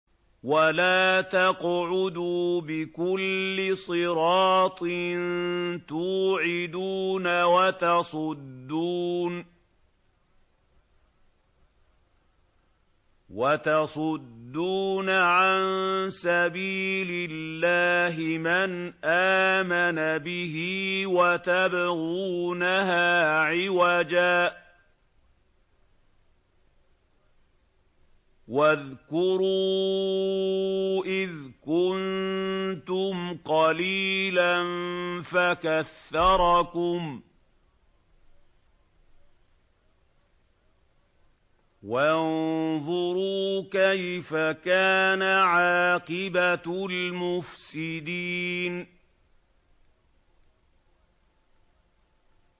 وَلَا تَقْعُدُوا بِكُلِّ صِرَاطٍ تُوعِدُونَ وَتَصُدُّونَ عَن سَبِيلِ اللَّهِ مَنْ آمَنَ بِهِ وَتَبْغُونَهَا عِوَجًا ۚ وَاذْكُرُوا إِذْ كُنتُمْ قَلِيلًا فَكَثَّرَكُمْ ۖ وَانظُرُوا كَيْفَ كَانَ عَاقِبَةُ الْمُفْسِدِينَ